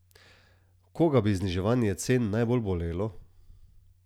Koga bi zniževanje cen najbolj bolelo?